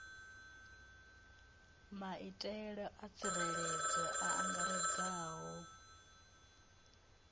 maitele a tsireledzo a angaredzaho